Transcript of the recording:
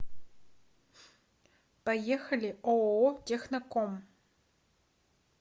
поехали ооо техноком